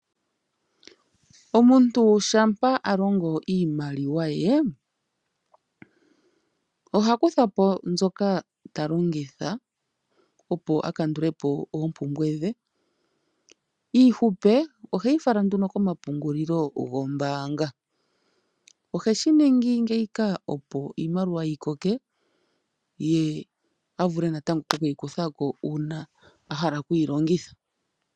Omuntu shampa a longo iimaliwa ye ohakutha po mbyoka ta longitha opo a kandule po oompumbwe dhe . Iihupe oheyi fala nduno komapungulilo gombaanga . Ohe shi ningi ngeyika opo iimaliwa yi koke ye avule natango okuyikutha ko uuna a hala oku yi longitha